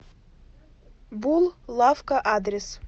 бул лавка адрес